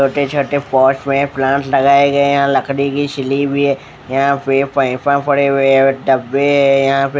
छोटे छोटे पोट में प्लांट लगाए गए है यहाँ लकड़ी की सिली हुई है यहाँ पे फैफ़ा पड़े हुए है ओर डब्बे है यहाँ पे --